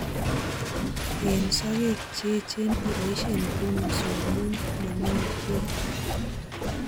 Eng sokek che echeen iboisie pruning saw amu mong'emei ketit